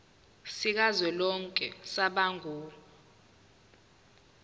sikazwelonke samabanga r